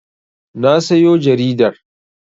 Na sayo jaridar.